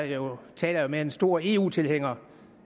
jeg taler jo med en stor eu tilhænger